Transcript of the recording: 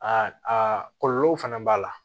Aa aa kɔlɔlɔw fana b'a la